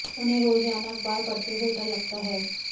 उन्हें रोजाना अखबार पढ़ते हुए डर लगता है